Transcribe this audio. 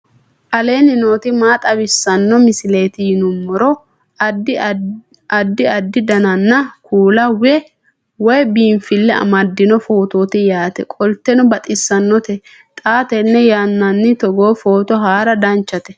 aleenni nooti maa xawisanno misileeti yinummoro addi addi dananna kuula woy biinfille amaddino footooti yaate qoltenno baxissannote xa tenne yannanni togoo footo haara danchate